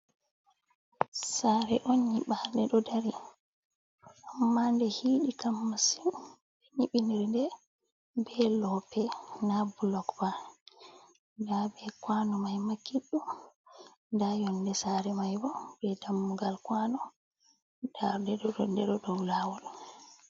Sare'on nyiɓade ɗo dari, amma nde hiiɗi kam masin. Nyiɓindiri nde be lope na bulok ba, nda be kwano maima Kidɗum, nda Yonde Sare mai bo be Dammugal kwano nda ndeɗo dou Lawol.